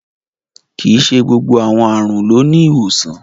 Kíí ṣè gbogbo awọn arùn ló ni ìwosàn.